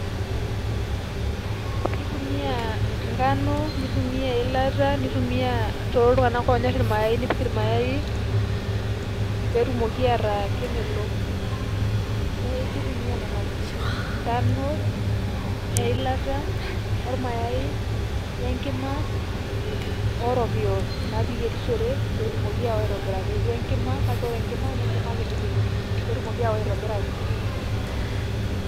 Kitumia nkano, nitumia eilata, nitumia toltung'anak onyor irmayai, nipik irmayai, petumoki ataa kemelok. Neeku kitumia nena tokiting'. Nkano, eilata, ormayai, we nkima orokiyo napiyierishore petumoki ao aitobiraki. We nkima, kake ore nkima na enkima kiti ipik, petumoki ao aitobiraki.